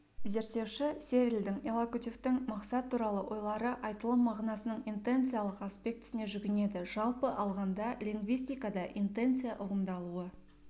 зерттеуші серльдің иллокутивтің мақсат туралы ойлары айтылым мағынасының интенциялық аспектісіне жүгінеді жалпы алғанда лингвистикада интенция ұғымыдаулы